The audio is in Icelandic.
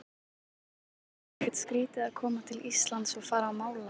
En er ekkert skrítið að koma til Íslands og fara að mála?